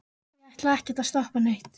ég ætlaði ekkert að stoppa neitt.